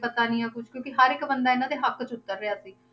ਪਤਾ ਨੀ ਹੈ ਕੁਛ ਕਿਉਂਕਿ ਹਰ ਇੱਕ ਬੰਦਾ ਇਹਨਾਂ ਦੇ ਹੱਕ 'ਚ ਉੱਤਰ ਰਿਹਾ ਸੀ।